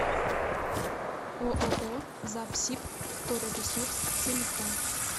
ооо запсибвторресурс телефон